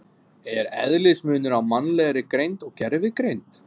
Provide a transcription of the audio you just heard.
Er eðlismunur á mannlegri greind og gervigreind?